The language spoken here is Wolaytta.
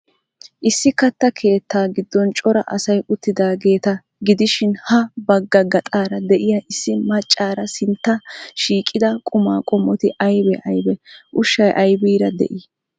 Issi katta keettaa giddon cora asay uttidaageeta gidishin, ha bgga gaxaara de'iya issi maaccaari sinttan shiiqida qumaa qommoti aybee aybee? Ushshay aybiira de'ii?